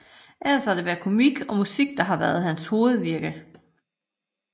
Ellers har det været komik og musik der har været hans hovedvirke